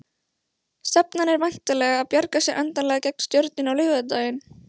Stefnan er væntanlega að bjarga sér endanlega gegn Stjörnunni á laugardaginn?